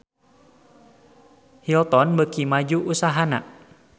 Hilton beuki maju usahana